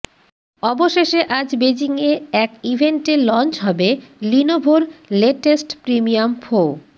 অবশেষে আজ বেজিং এ এক ইভেন্টে লঞ্চ হবে লিনোভোর লেটেস্ট প্রিমিয়াম ফো